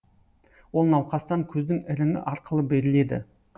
ол науқастан көздің іріңі арқылы беріледі